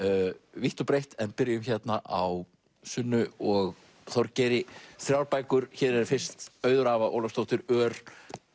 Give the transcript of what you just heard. vítt og breitt en byrjum á Sunnu og Þorgeiri þrjár bækur hér er fyrst Auður Ava Ólafsdóttir ör